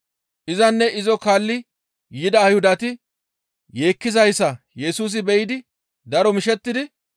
Izanne izo kaalli yida Ayhudati yeekkizayssa Yesusi beyi daro mishettidi,